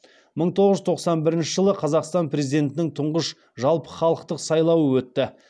мың тоғыз жүз тоқсан бірінші жылы қазақстан президентінің тұңғыш жалпыхалықтық сайлауы өтті